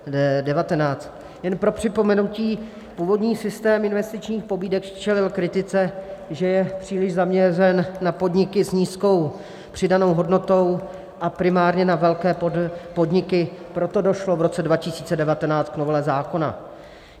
Jen pro připomenutí, původní systém investičních pobídek čelil kritice, že je příliš zaměřen na podniky s nízkou přidanou hodnotou a primárně na velké podniky, proto došlo v roce 2019 k novele zákona.